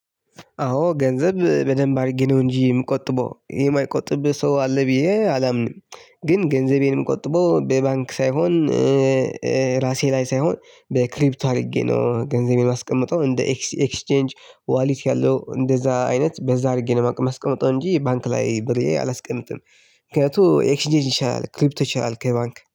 አዎ ገንዘብ በደንብ አድርጌ ነው እንጂ የምቆጥበው የማይቆጥብ ሰው አለ ብዬ አላምንም። ግን ገንዘቤንም አማቆጥበው በባንክ ሳይሆን ራሴ ላይ ሳይሆን በክሪፕቶ አድርጌ ነው ገንዘቤን ማስቀመጠው እንደ ኤክስቼንጅ ዋሊት ያለው እንደዛ አይነት በዛ አድርጌ ነው የማስቀምጠው እንጂ ባንክ ላይ ብሬ አላስቀምጥም። ምክንያቱም ኤክስጄት ይሻላል ክሪፕቶ ይሻላል ከባንክ